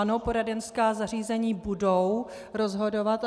Ano, poradenská zařízení budou rozhodovat.